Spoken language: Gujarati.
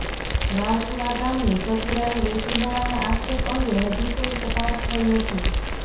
રાવપુરા ગામની સગીરાને વેચી હોવાના આક્ષેપ અંગે હજી કોઈ તપાસ થઈ નથી